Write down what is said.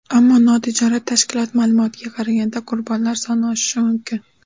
Ammo, notijorat tashkilot ma’lumotiga qaraganda, qurbonlar soni oshishi mumkin.